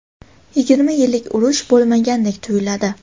yigirma yillik urush bo‘lmagandek tuyiladi.